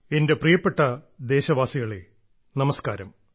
എന്റെ പ്രിയപ്പെട്ട ദേശവാസികളെ നമസ്കാരം